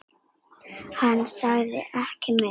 Hann sagði ekki meira.